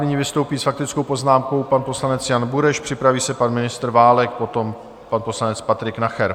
Nyní vystoupí s faktickou poznámkou pan poslanec Jan Bureš, připraví se pan ministr Válek, potom pan poslanec Patrik Nacher.